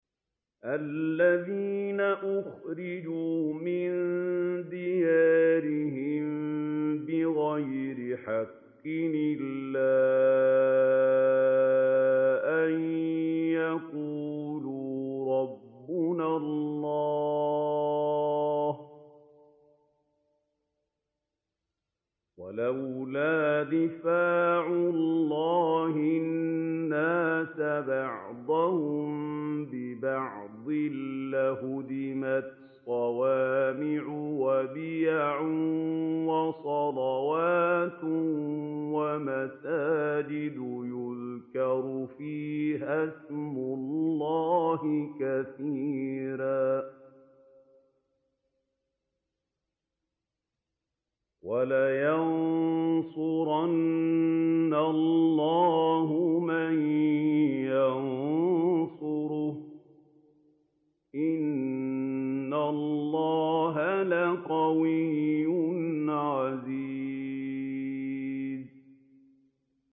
الَّذِينَ أُخْرِجُوا مِن دِيَارِهِم بِغَيْرِ حَقٍّ إِلَّا أَن يَقُولُوا رَبُّنَا اللَّهُ ۗ وَلَوْلَا دَفْعُ اللَّهِ النَّاسَ بَعْضَهُم بِبَعْضٍ لَّهُدِّمَتْ صَوَامِعُ وَبِيَعٌ وَصَلَوَاتٌ وَمَسَاجِدُ يُذْكَرُ فِيهَا اسْمُ اللَّهِ كَثِيرًا ۗ وَلَيَنصُرَنَّ اللَّهُ مَن يَنصُرُهُ ۗ إِنَّ اللَّهَ لَقَوِيٌّ عَزِيزٌ